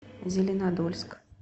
зеленодольск